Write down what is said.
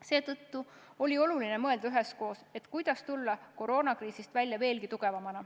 Seetõttu on oluline mõelda üheskoos, kuidas tulla koroonakriisist välja veelgi tugevamana.